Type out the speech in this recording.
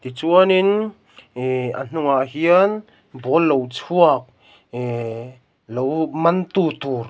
chuanin ih a hnungah hian ball lo chhuak ihh lo man tu tur--